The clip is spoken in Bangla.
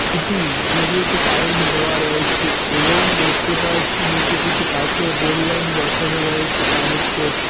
খুঁটি যেগুলোতে কারেন্ট দেওয়া রয়েছে এবং দেখতে পারছি নীচে কিছু পাথর রেললাইন বসানো রয়েছে তার উপর।